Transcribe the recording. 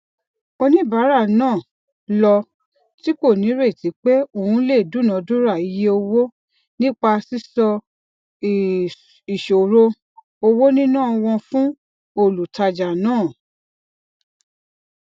oníbàárà náà ló tìkò nírètí pé òun lè dúnàádúrà iye owó nípa sísọ ìṣòro owonina wọn fún olùtajà náà